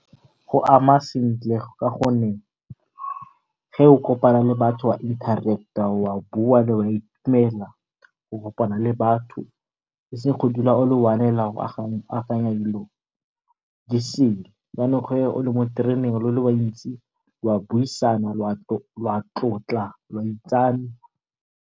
Go ama sentle ka gonne ge o kopana le batho o interact-a wa bua o kopana le batho eseng go dula o le one fela dilo disele yanong ge o le mo tereneng lo le bantsi la buisana la tlotla lwa itsane.